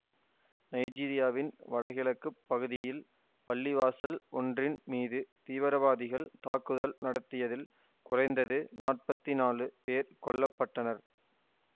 நைஜீரியாவின் வடகிழக்கு பகுதியில் பள்ளிவாசல் ஒன்றின் மீது தீவிரவாதிகள் தாக்குதல் நடத்தியதில் குறைந்தது நாற்பத்தி நாலு பேர் கொல்ல பட்டனர்